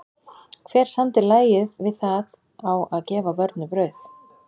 Hver samdi lagið við það á að gefa börnum brauð?